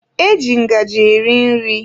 Eji ngaji eri nri.